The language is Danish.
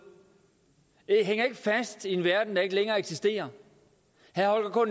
hænger ikke fast i en verden der ikke længere eksisterer herre holger